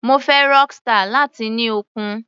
Mo fẹ́ Rockstar, láti ní okun.